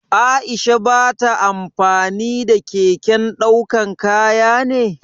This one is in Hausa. Aisha ba ta amfani da keken daukan kaya ne?